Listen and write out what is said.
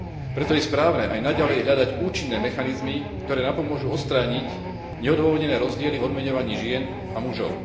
Preto je správne aj naďalej hľadať účinné mechanizmy, ktoré napomôžu odstrániť neodôvodnené rozdiely v odmeňovaní žien a mužov.